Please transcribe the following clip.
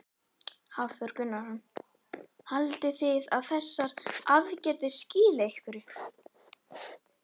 Hafþór Gunnarsson: Haldið þið að þessar aðgerðir skili einhverju?